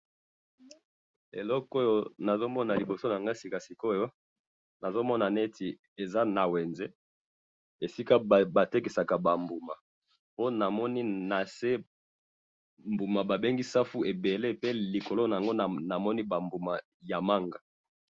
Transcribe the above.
eloko oyo nazo mona liboso na ngai sika sikoyo, nazo mona neti eza na wenze, esika ba tekisaka ba mbuma, po namoni na se mbuma ba bengi safu ebele pe likolo na yango namoni ba mbuma ya manga